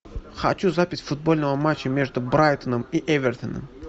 хочу запись футбольного матча между брайтоном и эвертоном